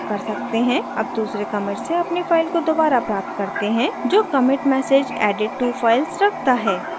अब दूसरे commit से अपनी file को दोबारा प्राप्त करते हैं जो commit message added two files रखता है